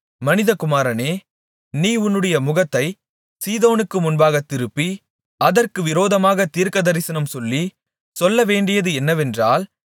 மனிதகுமாரனே நீ உன்னுடைய முகத்தைச் சீதோனுக்கு முன்பாக திருப்பி அதற்கு விரோதமாகத் தீர்க்கதரிசனம் சொல்லி சொல்லவேண்டியது என்னவென்றால்